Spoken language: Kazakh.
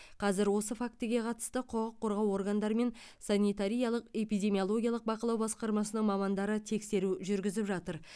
қазір осы фактіге қатысты құқық қорғау органдары мен санитариялық эпидемиологиялық бақылау басқармасының мамандары тексеру жүргізіп жатыр